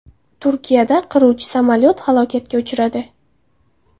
Turkiyada qiruvchi samolyot halokatga uchradi.